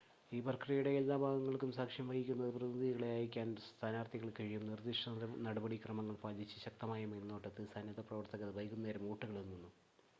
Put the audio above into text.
ഈ പ്രക്രിയയുടെ എല്ലാ ഭാഗങ്ങൾക്കും സാക്ഷ്യം വഹിക്കുന്നതിന് പ്രതിനിധികളെ അയക്കാൻ സ്ഥാനാർത്ഥികൾക്ക് കഴിയും നിർദ്ദിഷ്ട നടപടി ക്രമങ്ങൾ പാലിച്ച് ശക്തമായ മേൽനോട്ടത്തിൽ സന്നദ്ധ പ്രവർത്തകർ വൈകുന്നേരം വോട്ടുകൾ എണ്ണുന്നു